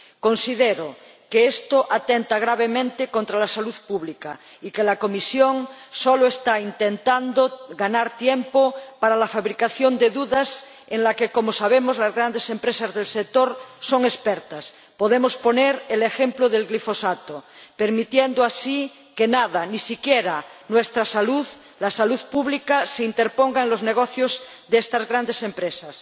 Considero que esto atenta gravemente contra la salud pública y que la Comisión solo está intentando ganar tiempo para la fabricación de dudas, en lo que, como sabemos, las grandes empresas del sector son expertas —podemos poner el ejemplo del glifosato—, permitiendo así que nada, ni siquiera nuestra salud —la salud pública— se interponga en los negocios de estas grandes empresas.